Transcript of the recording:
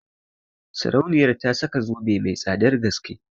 Sarauniyar ta saka zobe mai tsadan gaske